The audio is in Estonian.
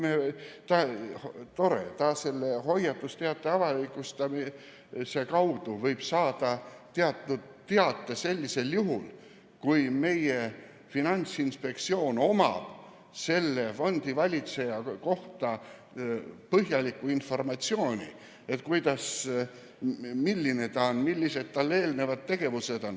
Tore, selle hoiatusteate avalikustamise kaudu võib ta saada teate sellisel juhul, kui meie Finantsinspektsioon omab selle fondivalitseja kohta põhjalikku informatsiooni: milline ta on ja millised on tema eelnevad tegevused.